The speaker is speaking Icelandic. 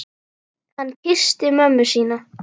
Hann kyssti mömmu sína.